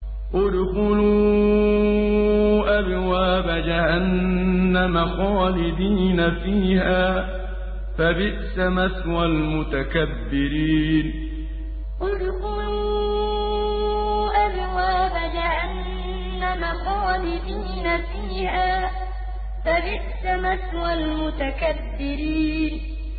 ادْخُلُوا أَبْوَابَ جَهَنَّمَ خَالِدِينَ فِيهَا ۖ فَبِئْسَ مَثْوَى الْمُتَكَبِّرِينَ ادْخُلُوا أَبْوَابَ جَهَنَّمَ خَالِدِينَ فِيهَا ۖ فَبِئْسَ مَثْوَى الْمُتَكَبِّرِينَ